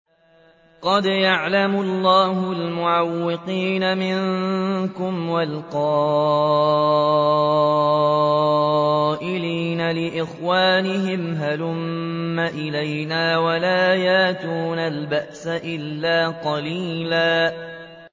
۞ قَدْ يَعْلَمُ اللَّهُ الْمُعَوِّقِينَ مِنكُمْ وَالْقَائِلِينَ لِإِخْوَانِهِمْ هَلُمَّ إِلَيْنَا ۖ وَلَا يَأْتُونَ الْبَأْسَ إِلَّا قَلِيلًا